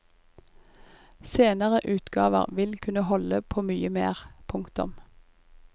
Senere utgaver vil kunne holde på mye mer. punktum